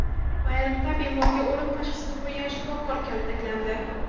Payariqda bemorga o‘lim tashxisini qo‘ygan shifokor kaltaklandi .